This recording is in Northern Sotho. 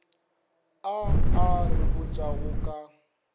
a a re botšago ka